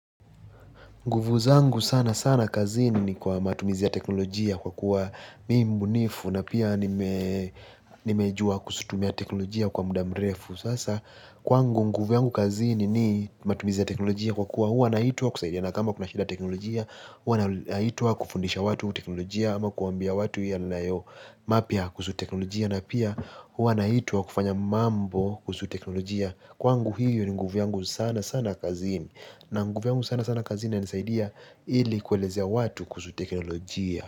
Nguvu zangu sana sana kazini ni kwa matumizi ya teknolojia kwa kuwa mi mbunifu na pia nimejua kuzitumia teknolojia kwa muda mrefu. Sasa kwangu nguvu yangu kazini ni matumizi ya teknolojia kwa kuwa huwa naitwa kusaidiana kama kuna shida ya teknolojia huwa naitwa kufundisha watu teknolojia ama kuwaambia watu yanayo mapya kuhusu teknolojia na pia huwa naitwa kufanya mambo kuhusu teknolojia. Kwangu hiyo ni nguvu yangu sana sana kazini na nguvu yangu sana sana kazini inanisaidia ili kuelezea watu kuhusu teknolojia.